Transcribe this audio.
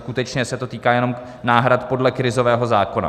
Skutečně se to týká jenom náhrad podle krizového zákona.